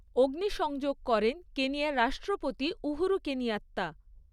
অগ্নিসংযোগ করেন কেনিয়ার রাষ্ট্রপতি উহুরু কেনিয়াত্তা।